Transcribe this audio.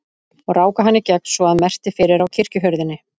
Og ráku hann í gegn svo að merkti fyrir á kirkjuhurðinni.